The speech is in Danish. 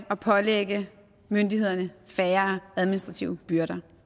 og pålægger myndighederne færre administrative byrder